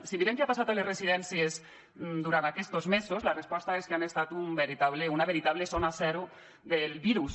si mirem què ha passat a les residències durant aquests mesos la resposta és que han estat una veritable zona zero del virus